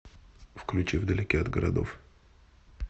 включи вдалеке от городов